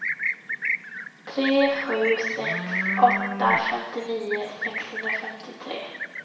tre sju sex åtta femtionio sexhundrafemtiotre